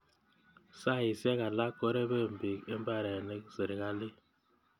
Saisyek alak korepei piik imbarenetik serikalit.